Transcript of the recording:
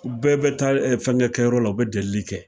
u bɛɛ bɛ taa e fɛngɛ kɛyɔrɔ la u be delili kɛ